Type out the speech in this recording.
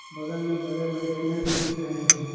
बगल में बड़े बड़े पेड़ भी दिख रहे हैं।